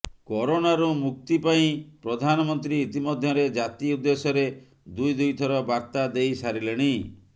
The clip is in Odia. କରୋନାରୁ ମୁକ୍ତି ପାଇଁ ପ୍ରଧାନମନ୍ତ୍ରୀ ଇତିମଧ୍ୟରେ ଜାତି ଉଦ୍ଦେଶ୍ୟରେ ଦୁଇ ଦୁଇ ଥର ବାର୍ତ୍ତା ଦେଇସାରିଲେଣି